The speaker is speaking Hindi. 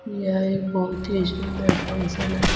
यह एक बहुत ही सुंदर फंक्शन है।